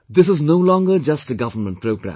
This is no longer just a government programme